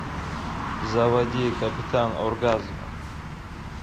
заводи капитан оргазмо